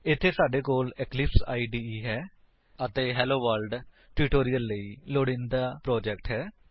ਇੱਥੇ ਸਾਡੇ ਕੋਲ ਇਕਲਿਪਸ ਇਦੇ ਅਤੇ ਹੈਲੋਵਰਲਡ ਟਿਊਟੋਰਿਅਲ ਲਈ ਲੋੜੀਂਦਾ ਪ੍ਰੋਜੇਕਟ ਹੈ